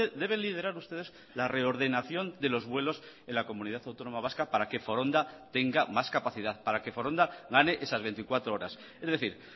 deben liderar ustedes la reordenación de los vuelos en la comunidad autónoma vasca para que foronda tenga más capacidad para que foronda gane esas veinticuatro horas es decir